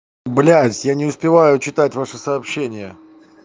блядь я не успеваю читать ваши сообщения